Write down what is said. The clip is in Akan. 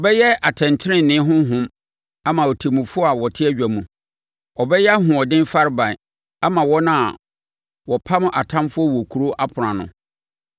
Ɔbɛyɛ atɛntenenee honhom ama ɔtemmufoɔ a wɔte adwa mu. Ɔbɛyɛ ahoɔden farebae ama wɔn a wɔpam atamfoɔ wɔ nkuro apono ano.